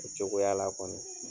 O cogoya la kɔni.